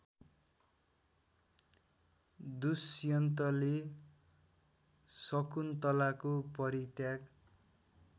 दुष्यन्तले शकुन्तलाको परित्याग